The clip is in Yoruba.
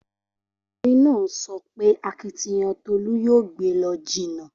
Okunrin naa so pe akitiyan Tolu yoo gbe e lo jinna.